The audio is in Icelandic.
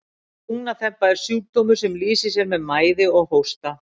Lungnaþemba er sjúkdómur sem lýsir sér með mæði og hósta.